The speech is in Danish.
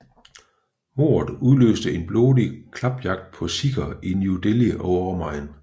Mordet udløste en blodig klapjagt på sikher i New Delhi og omegn